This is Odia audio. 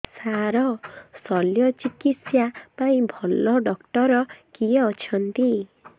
ସାର ଶଲ୍ୟଚିକିତ୍ସା ପାଇଁ ଭଲ ଡକ୍ଟର କିଏ ଅଛନ୍ତି